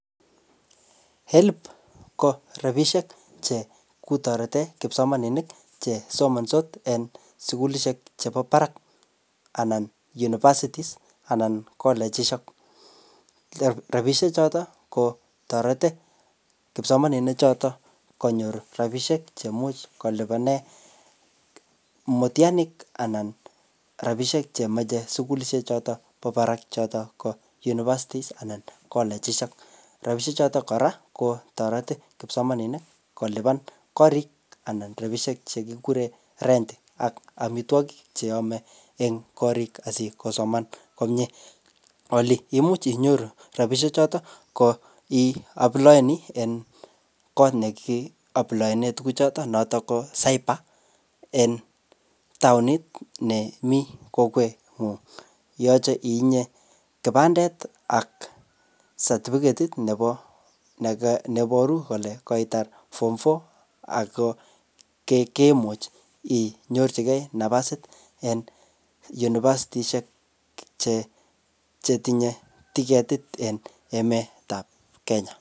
HELB ko rabisiek che kuu torete kipsomaninik che somansot en sukulishek chebo barak anan universities anan kolechishek. Rabisiek chotok ko torete kipsomaninik chotok konyor rabisiek chemuch kolipane mutianik anan rabisiek chemeche sukulishek chotok bo barak chotok ko universities anan kolechishek. Rabisiek chotok kora kotoreti kipsomaninik kolipan korik anan rabisiek che kikure rent ak amitwogik che ame eng korik asikosoman komyee. Ole imuch inyoru rabisiek chotok ko iaplayani en kot ne kiaplayane tuguk chotok, notok ko cyber en taonit ne mii koket ngung. Yache itinye kipandet ak satifiketit nebo neboru kole koitar form four ako ke-kemuch inyorchikei nafasit en univasitishek che chetinye tiketit en emet ap Kenya.